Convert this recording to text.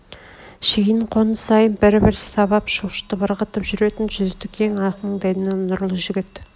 шейін қоныс сайын бір-бір сабап шошытып ығыртып жүретін жүзді кең ақ маңдайлы нұрлы жігіт